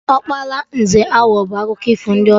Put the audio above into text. Ọkpara eze Awọ bụ akụkọ ifo ndị ọcha